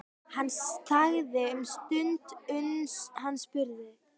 Hann þagði um stund uns hann spurði